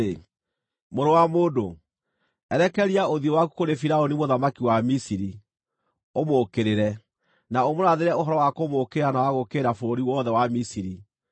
“Mũrũ wa mũndũ, erekeria ũthiũ waku kũrĩ Firaũni mũthamaki wa Misiri, ũmũũkĩrĩre, na ũmũrathĩre ũhoro wa kũmũũkĩrĩra na wa gũũkĩrĩra bũrũri wothe wa Misiri.